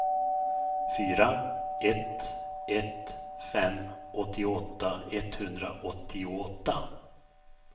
fyra ett ett fem åttioåtta etthundraåttioåtta